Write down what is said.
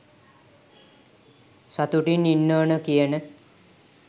සතුටින් ඉන්න ඕනෙ කියන